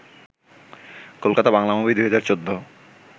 Kolkata Bangla movie ২০১৪